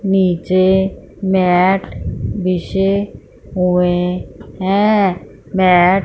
नीचे मेट बिछे हुए है मेट --